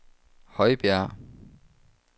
Højbjerg